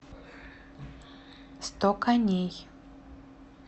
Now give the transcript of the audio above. сто коней